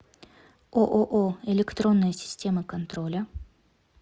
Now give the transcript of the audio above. ооо электронные системы контроля